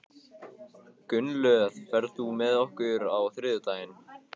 Gunnlöð, ferð þú með okkur á þriðjudaginn?